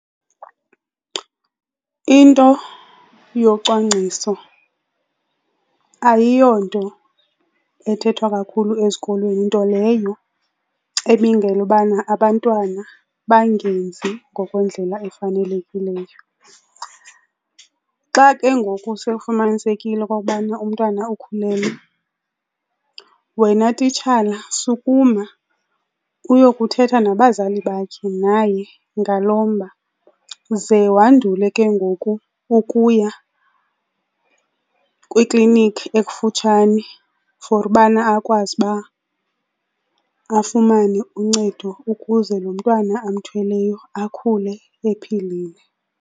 Into yocwangciso ayiyonto ethethwa kakhulu ezikolweni, nto leyo ebangela ubana abantwana bangenzi ngokwendlela efanelekileyo. Xa ke ngoku sewufumanisekile okokubana umntwana ukhulelwe, wena titshala sukuma uyokuthetha nabazali bakhe, naye, ngalo mba, ze wandule ke ngoku ukuya kwiklinikhi ekufutshane for ubana akwazi uba afumane uncedo ukuze lo mntwana amthweleyo akhule ephilile.